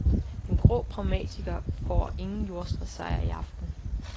Den grå pragmatiker får ingen jordskredssejr i aften.